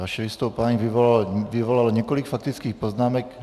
Vaše vystoupení vyvolalo několik faktických poznámek.